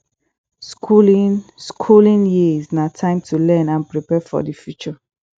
skooling skooling years na time to learn and prepare for di future